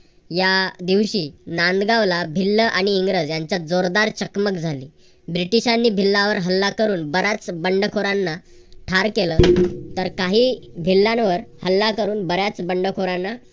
या दिवशी नांदगावला भिल्ल आणि इंग्रज त्यांच्यात जोरदार चकमक झाली. ब्रिटिशांनी भिल्लांवर हल्ला करून बऱ्याच बंडखोरांना ठार केलं. तर काही भिल्लांवर हल्ला करून बऱ्याच बंडखोरांना